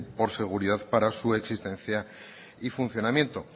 por seguridad para su existencia y funcionamiento